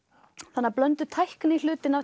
þannig að blönduð tækni hlutinn af